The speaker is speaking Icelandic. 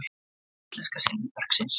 Úr sögu íslenska silfurbergsins.